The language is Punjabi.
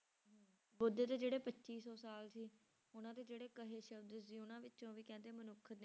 ਬੁੱਧ ਦੇ ਜਿਹੜੇ ਪੱਚੀ ਸੌ ਸਾਲ ਸੀ ਉਹਨਾਂ ਦੇ ਜਿਹੜੇ ਕਹੇ ਸ਼ਬਦ ਸੀ ਉਹਨਾਂ ਵਿੱਚੋਂ ਵੀ ਕਹਿੰਦੇ ਮਨੁੱਖ